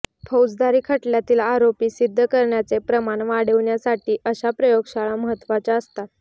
फौजदारी खटल्यातील आरोपी सिध्द करण्याचे प्रमाण वाढविण्यासाठी अशा प्रयोगशाळा महत्त्वाच्या असतात